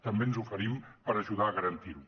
també ens oferim per ajudar a garantir ho